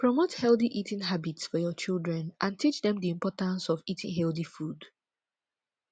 promote healthy eating habits for your children and teach dem di importance of eating healthy food